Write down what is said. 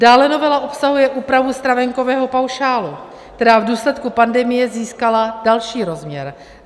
Dále novela obsahuje úpravu stravenkového paušálu, která v důsledku pandemie získala další rozměr.